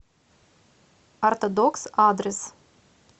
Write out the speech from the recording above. ортодокс адрес